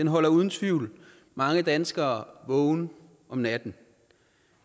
holder uden tvivl mange danskere vågen om natten